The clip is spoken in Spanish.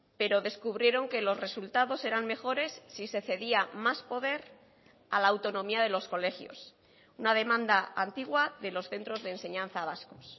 pero descubrieron que los resultados eran mejores si se cedía más poder a la autonomía de los colegios una demanda antigua de los centros de enseñanza vascos